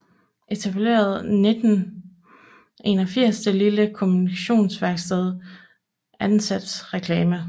Etablerede 1981 det lille kommunikationsværksted Ansats Reklame